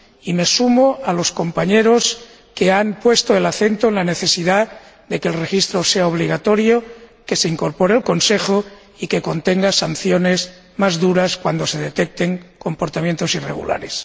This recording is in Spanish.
Y me sumo a los compañeros que han puesto el acento en la necesidad de que el registro sea obligatorio, que se incorpore el Consejo y que contenga sanciones más duras cuando se detecten comportamientos irregulares.